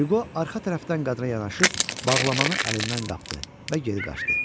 Hüqo arxa tərəfdən qadına yanaşıb, bağlamanı əlindən qapdı və geri qaçdı.